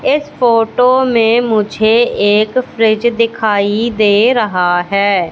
इस फोटो में मुझे एक फ्रिज दिखाई दे रहा है।